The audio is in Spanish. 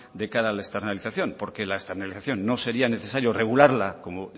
de cara a la externalización porque la externalización no sería necesario regularla como